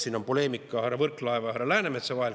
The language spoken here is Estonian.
Siin oli poleemika härra Võrklaeva ja härra Läänemetsa vahel.